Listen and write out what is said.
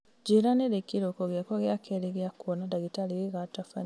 njĩra nĩ rĩ kĩrĩko gĩakwa gĩa kerĩ gĩa kwona ndagĩtarĩ gĩgatabanio